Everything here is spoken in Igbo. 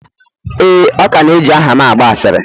ee, ọ ka na eji aha'm agba asịrị.